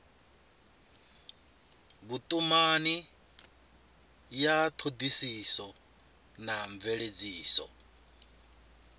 vhutumani ya thodisiso na mveledziso